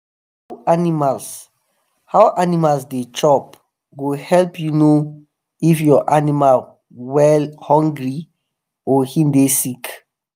how animals how animals they chop go help u know if ur animals wellhungry or him the sick